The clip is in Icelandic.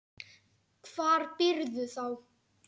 Hvar býrðu þá?